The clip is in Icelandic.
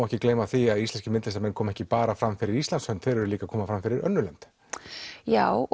ekki gleyma því að íslenskir myndlistarmenn koma ekki bara fram fyrir Íslands hönd þeir eru líka að koma fram fyrir önnur lönd já